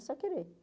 É só querer.